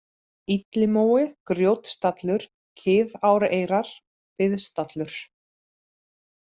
Illimói, Grjótstallur, Kiðáreyrar, Biðstallur